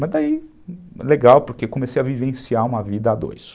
Mas daí, legal, porque comecei a vivenciar uma vida a dois.